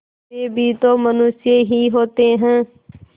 वे भी तो मनुष्य ही होते हैं